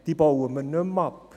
Diese bauen wir nicht mehr ab.